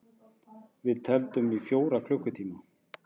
Við tefldum í fjóra klukkutíma!